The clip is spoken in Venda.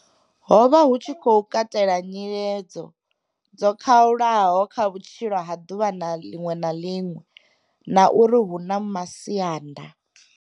Ho vha hu tshi khou katela nyiledzo dzo khalulaho kha vhutshilo ha ḓuvha ḽiṅwe na ḽiṅwe na uri hu na masianda.